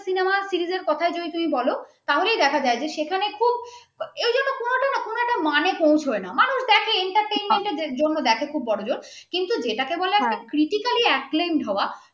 producer র কোথায় যে তুমি বলো তাহলে দেখা যে যে সেখানে খুব এইজন্য কোনো একটাই কোনো মানে পৌঁছায় না মানুষ দেখে entertainment জন্য দেখে খুব বড়জোর কিন্তু যেটাকে বলে criticallyacclaimed হওয়া